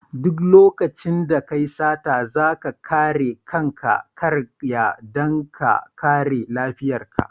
Duk lokacin da kayi sata, zaka kare kana karya dan ka kare laifin ka.